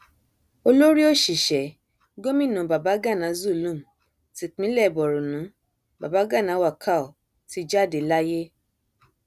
olórí òṣìṣẹ gòmìnà babàgana zulum tipinlẹ borno babagana wakal ti jáde láyé